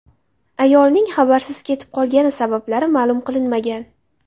Ayolning xabarsiz ketib qolgani sabablari ma’lum qilinmagan.